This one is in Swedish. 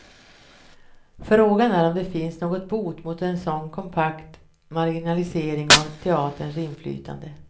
Frågan är om det finns någon bot mot en så kompakt marginalisering av teaterns inflytande.